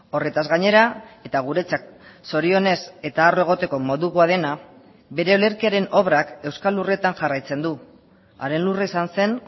horretaz gainera eta guretzat zorionez eta arro egoteko modukoa dena bere olerkiaren obrak euskal lurretan jarraitzen du haren lurra izan zen